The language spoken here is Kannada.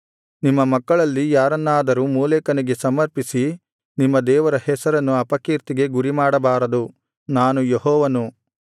ನಿಮ್ಮ ಮಕ್ಕಳಲ್ಲಿ ಯಾರನ್ನಾದರೂ ಮೋಲೆಕನಿಗೆ ಸಮರ್ಪಿಸಿ ನಿಮ್ಮ ದೇವರ ಹೆಸರನ್ನು ಅಪಕೀರ್ತಿಗೆ ಗುರಿಮಾಡಬಾರದು ನಾನು ಯೆಹೋವನು